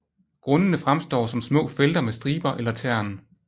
Grundene fremstår som små felter med striber eller tern